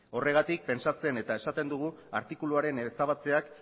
horregatik pentsatzen eta esaten dugu artikuluaren ezabatzeak